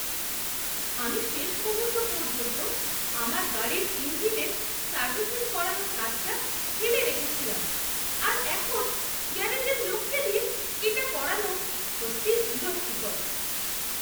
আমি শেষ মুহূর্ত পর্যন্ত আমার গাড়ির ইঞ্জিনের সার্ভিসিং করানোর কাজটা ফেলে রেখেছিলাম আর এখন গ্যারেজের লোককে দিয়ে এটা করানো সত্যিই বিরক্তিকর।